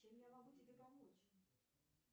чем я могу тебе помочь